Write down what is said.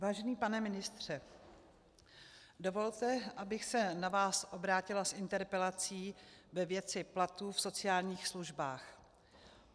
Vážný pane ministře, dovolte, abych se na vás obrátila s interpelací ve věci platů v sociálních službách.